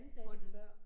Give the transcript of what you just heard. På den